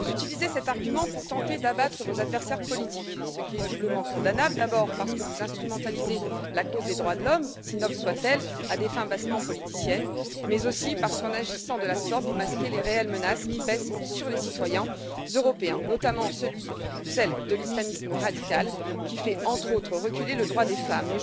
Vous utilisez cet argument pour tenter d'abattre vos adversaires politiques, ce qui est doublement condamnable, d'abord parce que vous instrumentalisez la cause des droits de l'homme, si noble soit elle, à des fins bassement politiciennes, mais aussi parce qu'en agissant de la sorte, vous masquez les réelles menaces qui pèsent sur les citoyens européens, notamment celle de l'islamisme radical, qui fait, entre autres, reculer le droit des femmes.